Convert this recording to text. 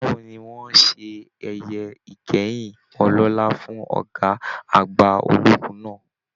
Báwo ní wọn ṣe ẹyẹ ìkẹyìn ọlọlá fún ọgá àgbà ológun náà?